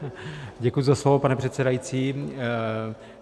Děkuji za slovo, pane předsedající.